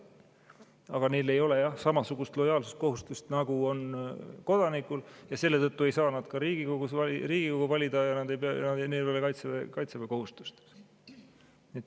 Samas neil ei ole jah samasugust lojaalsuskohustust, nagu on kodanikul, ja selle tõttu ei saa nad Riigikogu valida ja neil ei ole kaitseväekohustust.